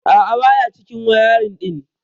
A'a baya cikin wayarin din.